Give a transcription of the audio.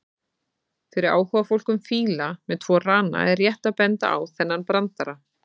Fyrir áhugafólk um fíla með tvo rana er rétt að benda á þennan brandara: